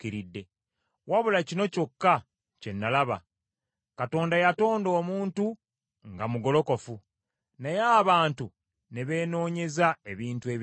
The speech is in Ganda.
Wabula kino kyokka kye nalaba: Katonda yatonda omuntu nga mugolokofu, naye abantu ne beenoonyeza ebintu ebirala bingi.”